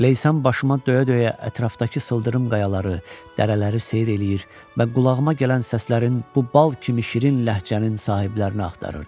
Leysan başıma döyə-döyə ətrafdakı sıldırım qayaları, dərələri seyr eləyir və qulağıma gələn səslərin bu bal kimi şirin ləhcənin sahiblərini axtarırdım.